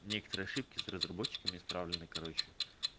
некоторые ошибки с разработчиками исправленной короче